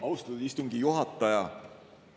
Austatud istungi juhataja!